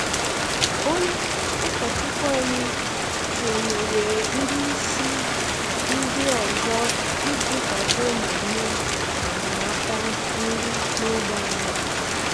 Onye ụkọchukwu anyị sonyeere ndị isi ndị ọzọ iji kwado mmemme enyemaka nri n’ógbè anyị.